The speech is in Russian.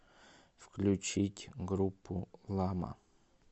включить группу лама